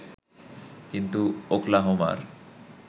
কিন্তু ওকলাহোমার